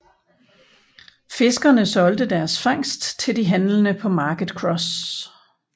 Fiskerne solgte deres fangst til de handlende på Market Cross